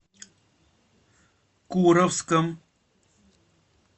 куровском